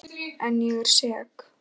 En ég er sek.